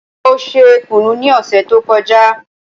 Mo ṣe kùnú ní òsè tó kọjá